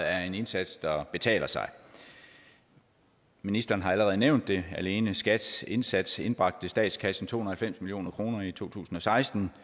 er en indsats der betaler sig ministeren har allerede nævnt det alene skats indsats indbragte statskassen to hundrede og halvfems million kroner i to tusind og seksten